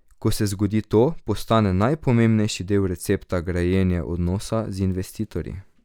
Ko se zgodi to, postane najpomembnejši del recepta grajenje odnosa z investitorji.